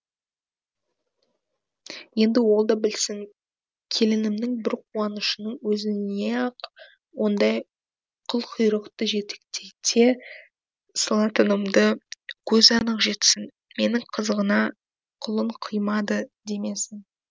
енді ол да білсін келінімнің бір қуанышының өзіне ақ ондай қылқұйрықты жетектете салатынымды көзі анық жетсін мені қызығына құлын қимады демесін